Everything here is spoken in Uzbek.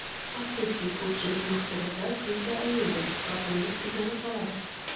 Afsuski, ko‘pchilik mahsulotlar tezda ayniydi va pulimiz kuygani qoladi.